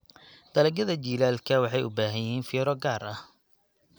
Dalagyada jiilaalka waxay u baahan yihiin fiiro gaar ah.